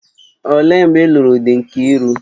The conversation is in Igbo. Olee mgbe ị́luru dị Nkiru?